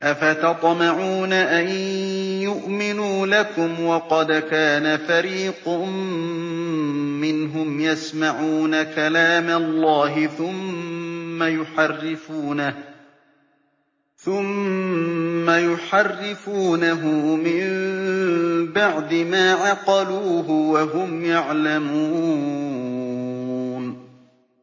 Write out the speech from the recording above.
۞ أَفَتَطْمَعُونَ أَن يُؤْمِنُوا لَكُمْ وَقَدْ كَانَ فَرِيقٌ مِّنْهُمْ يَسْمَعُونَ كَلَامَ اللَّهِ ثُمَّ يُحَرِّفُونَهُ مِن بَعْدِ مَا عَقَلُوهُ وَهُمْ يَعْلَمُونَ